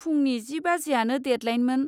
फुंनि जि बाजिआनो डेदलाइनमोन।